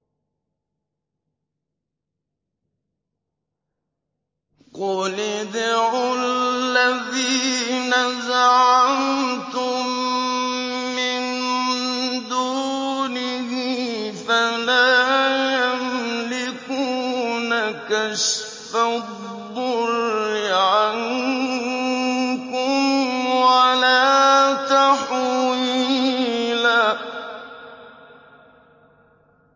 قُلِ ادْعُوا الَّذِينَ زَعَمْتُم مِّن دُونِهِ فَلَا يَمْلِكُونَ كَشْفَ الضُّرِّ عَنكُمْ وَلَا تَحْوِيلًا